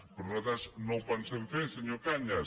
però nosaltres no ho pensem fer senyor cañas